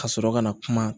Ka sɔrɔ ka na kuma